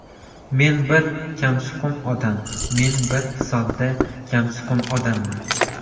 Men bir kamsuqum odam Men bir sodda, kamsuqum odamman.